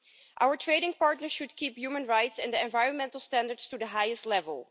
Our trading partners should keep human rights and the environmental standards to the highest level.